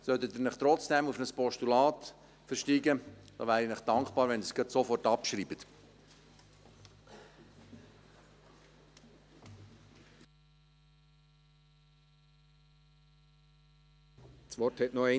Sollten Sie sich trotzdem auf ein Postulat versteigen, wäre ich Ihnen dankbar, wenn Sie es sofort abschreiben würden.